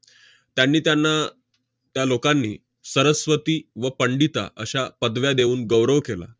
त्यांनी त्यांना त्या लोकांनी 'सरस्वती' व 'पंडिता' अश्या पदव्या देऊन गौरव केला